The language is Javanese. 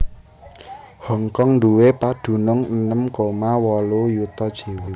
Hong Kong duwé padunung enem koma wolu yuta jiwa